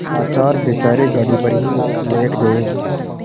लाचार बेचारे गाड़ी पर ही लेट गये